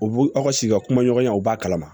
U b'u aw ka sigi ka kuma ɲɔgɔnya u b'a kalama